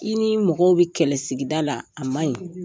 I ni mɔgɔw bi kɛlɛ sigida la, a maɲi.